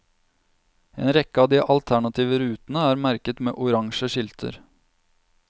En rekke av de alternative rutene er merket med orange skilter.